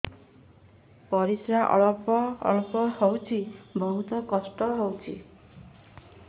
ପରିଶ୍ରା ଅଳ୍ପ ଅଳ୍ପ ହଉଚି ବହୁତ କଷ୍ଟ ହଉଚି